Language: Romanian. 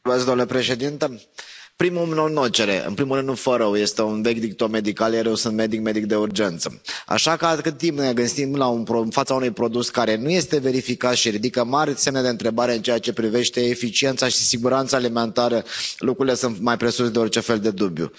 Domnule președinte, în primul rând nu fă rău, este un vechi dicton medical, iar eu sunt medic, medic de urgență, așa că atât timp cât ne găsim în fața unui produs care nu este verificat și ridică mari semne de întrebare în ceea ce privește eficiența și siguranța alimentară, lucrurile sunt mai presus de orice fel de dubiu.